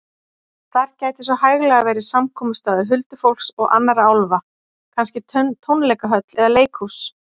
Þar gæti svo hæglega verið samkomustaður huldufólks og annarra álfa, kannski tónleikahöll eða leikhús.